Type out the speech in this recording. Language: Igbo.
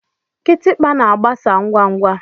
Kitikpa na-agbasa ngwa ngwa.